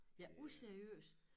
Ja useriøst